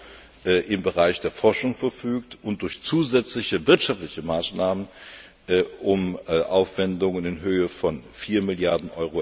Euro im Bereich Forschung verfügt und durch zusätzliche wirtschaftliche Maßnahmen um Aufwendungen in Höhe von 4 Mrd.